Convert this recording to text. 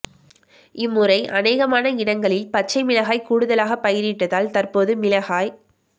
இம்முறை அநேகமான இடங்களில் பச்சை மிளகாய் கூடுதலாகப் பயிரிட்டதால் தற்போது மிளகாய்